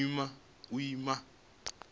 u ima na sia lifhio